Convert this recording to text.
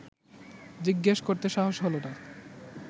জিজ্ঞেস করতে সাহস হল না